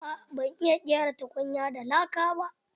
Aa ban iya ƙera tukunya da laka ba.